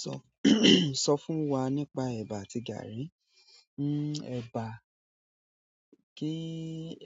Sọ, sọ fún wa nípa ẹ̀bà àti gààrí. Ẹ̀bà, kí